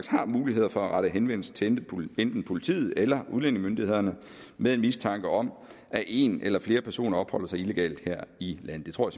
har muligheder for at rette henvendelse til enten politiet eller udlændingemyndighederne med en mistanke om at en eller flere personer opholder sig illegalt her i landet det tror